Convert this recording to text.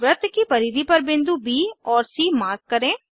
वृत्त की परिधि पर बिंदु ब और सी मार्क करें